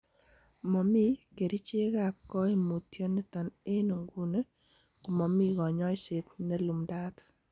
Momi kerichekab koimutioniton ago nguni komomi konyoiset nelumdaat.